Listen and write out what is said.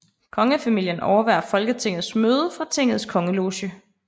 Kongefamilien overværer Folketingets møde fra tingets kongeloge